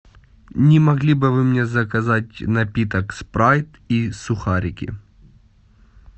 не могли бы вы мне заказать напиток спрайт и сухарики